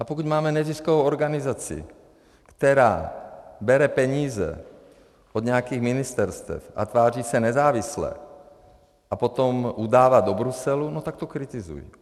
A pokud máme neziskovou organizaci, která bere peníze od nějakých ministerstev a tváří se nezávisle a potom udává do Bruselu, no, tak to kritizuji.